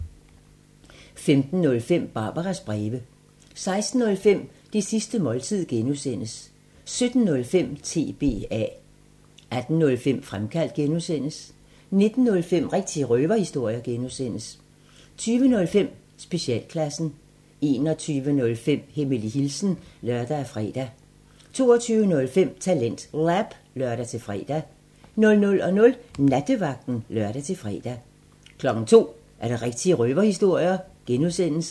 15:05: Barbaras breve 16:05: Det sidste måltid (G) 17:05: TBA 18:05: Fremkaldt (G) 19:05: Rigtige røverhistorier (G) 20:05: Specialklassen 21:05: Hemmelig hilsen (lør og fre) 22:05: TalentLab (lør-fre) 00:00: Nattevagten (lør-fre) 02:00: Rigtige røverhistorier (G)